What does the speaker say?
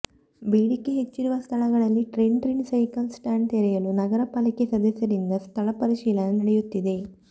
ಬೇಡಿಕೆ ಹೆಚ್ಚಿರುವ ಸ್ಥಳಗಳಲ್ಲಿ ಟ್ರಿಣ್ ಟ್ರಿಣ್ ಸೈಕಲ್ ಸ್ಟ್ಯಾಂಡ್ ತೆರೆಯಲು ನಗರ ಪಾಲಿಕೆ ಸದಸ್ಯರಿಂದ ಸ್ಥಳ ಪರಿಶೀಲನೆ ನಡೆಯುತ್ತಿದೆ